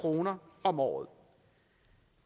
kroner om året